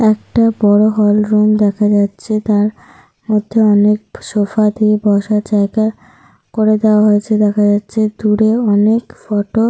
একটা বড় hall room দেখা যাচ্ছে। তার মধ্যে অনেক সোফা দিয়ে বসার জায়গা করে দেওয়া হয়েছে দেখা যাচ্ছে। দূরে অনেক ফটো --